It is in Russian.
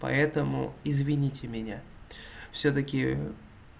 поэтому извините меня всё-таки